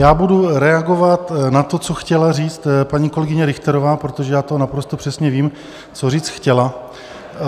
Já budu reagovat na to, co chtěla říct paní kolegyně Richterová, protože já to naprosto přesně vím, co říct chtěla.